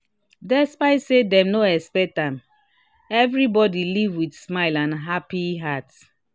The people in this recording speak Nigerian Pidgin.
despite say dem no expect am everybody leave with smile and happy heart